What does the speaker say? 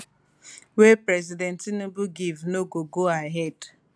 wey president tinubu give no go ahead